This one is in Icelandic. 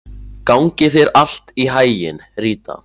Gangi þér allt í haginn, Rita.